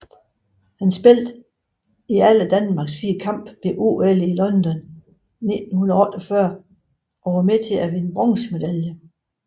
Han spillede i alle Danmarks fire kampe ved OL i London 1948 og var med til at vinde bronzemedaljer